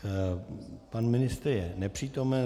Pan ministr je nepřítomen.